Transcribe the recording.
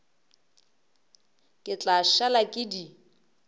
ke tla šala ke di